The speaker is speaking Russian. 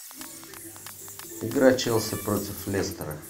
игра челси против лестера